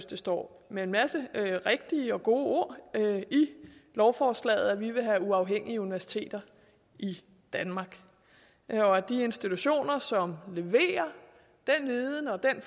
det står med en masse rigtige og gode ord i lovforslaget vil have uafhængige universiteter i danmark og at de institutioner som leverer den viden og den